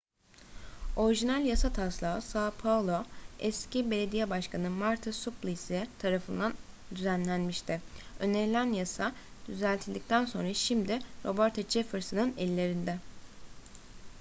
orijinal yasa taslağı são paulo eski belediye başkanı marta suplicy tarafından düzenlenmişti. önerilen yasa düzeltildikten sonra şimdi roberto jefferson'ın ellerinde